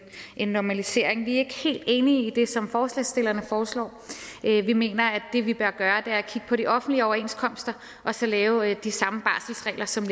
en normalisering vi er ikke helt enige i det som forslagsstillerne foreslår vi mener at det vi bør gøre er at kigge på de offentlige overenskomster og så lave de samme barselsregler som